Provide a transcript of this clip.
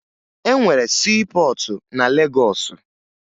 E nwere siipọọtụ na Legọọsụ